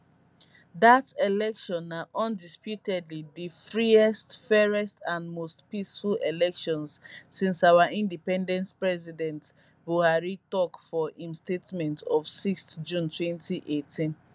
dat election na undisputedly di freest fairest and most peaceful elections since our independence president buhari tok for im statement of 6 june 2018